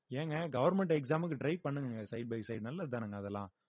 ஏங்க government exam க்கு try பண்ணுங்கங்க side by side நல்லதுதானேங்க அதெல்லாம்